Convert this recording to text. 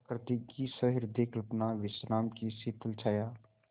प्रकृति की सहृदय कल्पना विश्राम की शीतल छाया